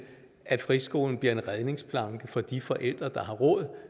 at friskolen bliver en redningsplanke for de forældre der har råd